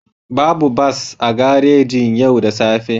Babu bas a garejin yau da safe